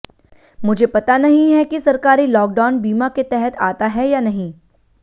मुझे पता नहीं है कि सरकारी लॉकडाउन बीमा के तहत आता है या नहीं